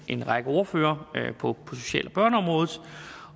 en række ordførere på social